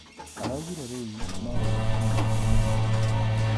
Araugire riu noo rirehe mehia manene.